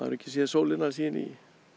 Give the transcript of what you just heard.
ekki séð sólina síðan í